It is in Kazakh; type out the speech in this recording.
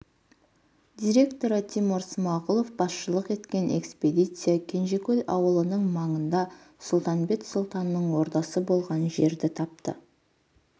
директоры тимур смағұлов басшылық еткен экспедиция кенжекөл ауылының маңында сұлтанбет сұлтанның ордасы болған жерді тапты